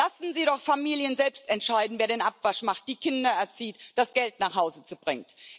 Lassen Sie doch Familien selbst entscheiden, wer den Abwasch macht, die Kinder erzieht, das Geld nach Hause bringt.